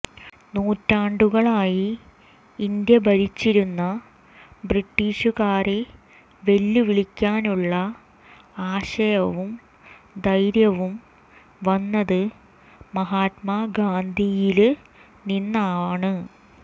നൂറ്റാണ്ടുകളായി ഇന്ത്യ ഭരിച്ചിരുന്ന ബ്രിട്ടീഷുകാരെ വെല്ലുവിളിക്കാനുള്ള ആശയവും ധൈര്യവും വന്നത് മഹാത്മാ ഗാന്ധിയില് നിന്നാണ്